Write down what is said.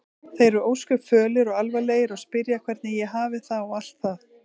Þeir eru ósköp fölir og alvarlegir og spyrja hvernig ég hafi það og allt það.